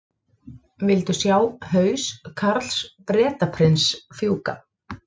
Vildu sjá haus Karls Bretaprins fjúka